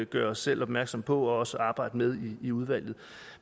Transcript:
gøre os selv opmærksomme på og også arbejde med i udvalget